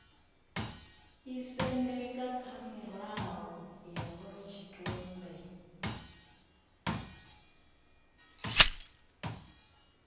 isendeka kha mirao ya khorotshitumbe